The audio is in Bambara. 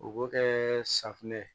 O b'o kɛ safinɛ ye